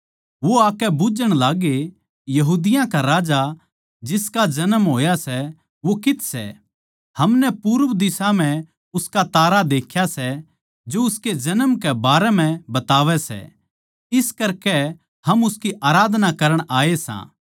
वो आकै बुझ्झण लाग्गे यहूदिया का राजा जिसका जन्म होया सै वो कित्त सै हमनै पूरब दिशा म्ह उसका तारा देख्या सै जो उसके जन्म के बारें म्ह बतावै सै इस करकै हम उसकी आराधना करण आये सां